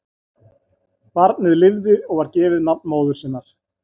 Barnið lifði og var gefið nafn móður sinnar.